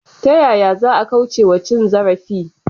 Ta yaya za a kauce wa cin zarafi?